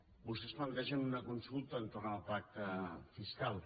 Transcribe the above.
vostès plantegen una consulta entorn al pacte fiscal